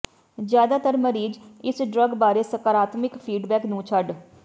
ਜ਼ਿਆਦਾਤਰ ਮਰੀਜ਼ ਇਸ ਡਰੱਗ ਬਾਰੇ ਸਕਰਾਤਮਿਕ ਫੀਡਬੈਕ ਨੂੰ ਛੱਡ